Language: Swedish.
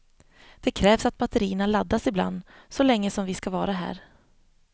Det krävs att batterierna laddas ibland, så länge som vi ska vara här.